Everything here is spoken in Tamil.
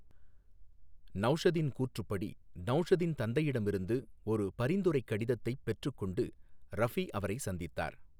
நௌஷதின் கூற்றுப்படி, நௌஷதின் தந்தையிடமிருந்து ஒரு பரிந்துரைக் கடிதத்தைப் பெற்றுக்கொண்டு ரஃபி அவரை சந்தித்தார்.